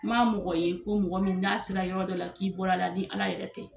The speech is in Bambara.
N m'a mɔgɔ ye ko mɔgɔ min ser'a yɔrɔ dɔ la k'i bɔra la ni Ala yɛrɛ tɛ.